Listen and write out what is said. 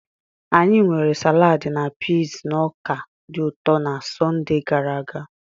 Anyị mere saladi na piis na ọka dị ụtọ na Sọnde gara aga.